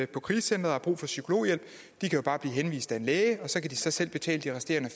krisecenter og har brug for psykologhjælp kan jo bare blive henvist af en læge og så kan de selv betale de resterende